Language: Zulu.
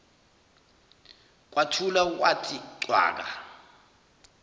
kwathula kwathi cwaka